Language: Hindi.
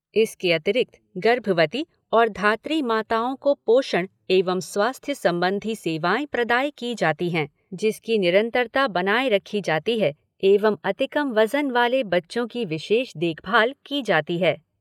इसके अतिरिक्त गर्भवती और धात्री माताओं को पोषण एवं स्वास्थ्य संबंधी सेवाएँ प्रदाय की जाती हैं, जिसकी निरन्तरता एवं अतिकम वजन वाले बच्चों की विशेष देखभाल की जाती है।